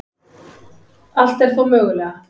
Allt er þó mögulega